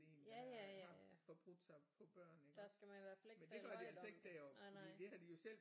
Ja ja ja ja der skal man i hvert fald ikke tale højt om det nej nej